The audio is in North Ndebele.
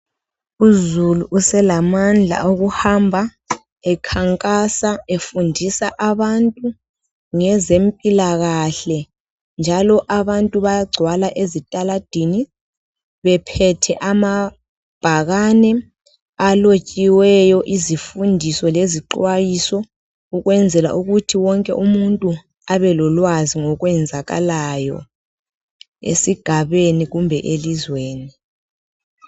Uzulu uselamandla okuhamba ekhankasa efundisa abantu ngezempilakahle njalo abantu bayagcwala ezitaladini bephethe amabhakane alotshiweyo izifundiso lezixhwayiso ukwenzela ukuthi wonke umuntu abelolwazi ngokwenzakalayo esigabeni loba elizweni.